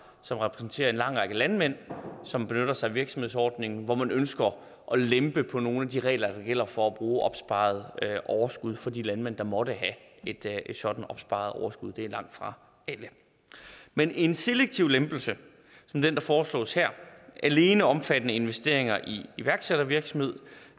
som repræsenterer en lang række landmænd som benytter sig af virksomhedsordningen hvor man ønsker at lempe på nogle af de regler der gælder for at bruge opsparet overskud for de landmænd der måtte have et sådant opsparet overskud det er langtfra alle men en selektiv lempelse som den der foreslås her alene omfattende investeringer i iværksættervirksomhed